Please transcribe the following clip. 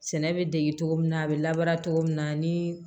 Sɛnɛ bɛ dege cogo min na a bɛ labaara cogo min na ni